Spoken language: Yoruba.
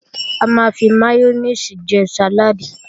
A máa ń fi máyónèsì jẹ sàláàdì